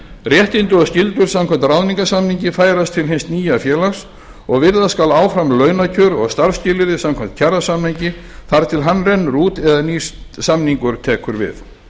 réttindi og skyldur samkvæmt ráðningarsamningi færast til hins nýja félags og virða skal áfram launakjör og starfsskilyrði samkvæmt kjarasamningi þar til hann rennur út eða nýr samningur tekur við